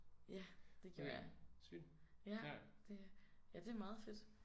Ja det gjorde jeg ja det ja det meget fedt